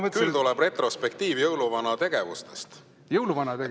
Küll tuleb retrospektiiv jõuluvana tegevustest.